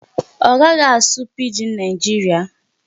Ọ ga-aga asụ Pidgin Nigeria?